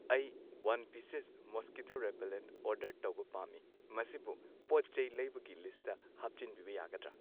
ꯑꯩ one pieces mosquito repellent order ꯇꯧꯕ ꯄꯥꯝꯃꯤ ꯃꯁꯤꯕꯨ ꯄꯣꯠ ꯆꯩ ꯂꯩꯕꯒꯤ ꯂꯤꯁꯇ ꯍꯥꯞꯆꯤꯟꯕꯤꯕ ꯌꯥꯒꯗ꯭ꯔ